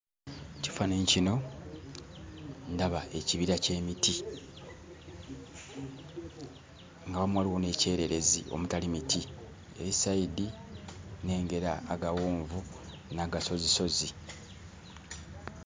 Mu kifaananyi kino ndaba ekibira ky'emiti nga awamu waliwo n'ekyererezi omutali miti. Eri sayidi nnengera agawonvu n'agasozisozi.